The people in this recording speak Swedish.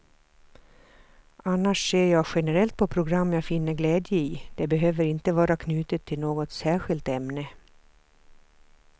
Annars ser jag generellt på program jag finner glädje i, det behöver inte vara knutet till något särskilt ämne.